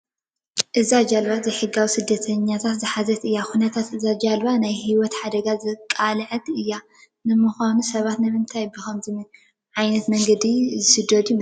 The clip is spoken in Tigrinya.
እዛ ጀልባ ዘይሕጋዊ ስደተኛታት ዝሓዘት እያ፡፡ ኩነታት እዛ ጀልባ ንናይ ሂወት ሓደጋ ዝተቓልዐ እዩ፡፡ ንምዃኑ ሰባት ንምንታይ ብኸምዚ መንገዲ ዝስደዱ ይመስለኹም